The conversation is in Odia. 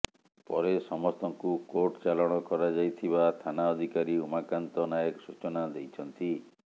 ପରେ ସମସ୍ତଙ୍କୁ କୋର୍ଟ ଚାଲାଣ କରାଯାଇଥିବା ଥାନା ଅଧିକାରୀ ଉମାକାନ୍ତ ନାୟକ ସୂଚନା ଦେଇଛନ୍ତି